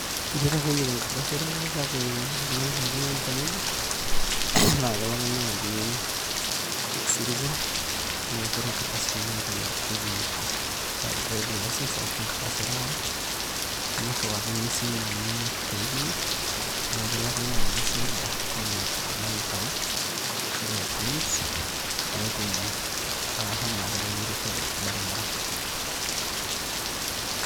Eitu aitang`ejuk enkardasi e reware kake ore oltung`ani pookin oyieu nitang`ejuk. Na kelo ake naaji e-citizen neiput nkardasini naitang`ejukieki driving licence ashu enkardasi e reware nirriwakini esimu enye te email niaku kelo ake naaji cyber nelo alo aitayu, nelo ashu elo ai print nelo ashomo atereushore tolbaribara.